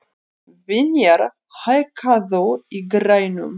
Vinjar, hækkaðu í græjunum.